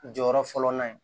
Jɔyɔrɔ fɔlɔ na yen